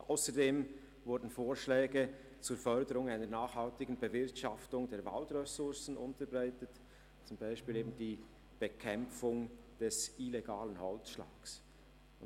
Ausserdem wurden Vorschläge zur Förderung einer nachhaltigen Bewirtschaftung der Waldressourcen unterbreitet, die zum Beispiel die Bekämpfung des illegalen Holzschlags betreffen.